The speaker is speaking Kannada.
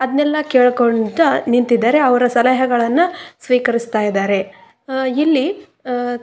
ಅದನ್ನೆಲ್ಲ ಕೇಳಿಕೊಳ್ಳುತ್ತಾ ನಿಂತಿದ್ದಾರೆ ಅವರ ಸಲಹೆಗಳನ್ನ ಸ್ವೀಕರಿಸ್ತಾ ಇದ್ದಾರೆ ಹ ಇಲ್ಲಿ ಹ್ಮ್--